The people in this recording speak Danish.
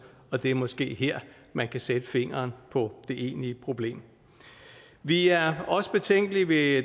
og det er måske her at man kan sætte fingeren på det egentlige problem vi er også betænkelige ved